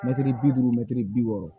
Mɛtiri bi duuru mɛtiri bi wɔɔrɔ